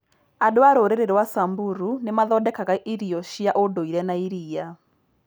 Andũ a rũrĩrĩ rwa Samburu nĩ mathondekaga irio cia ũndũire na iria.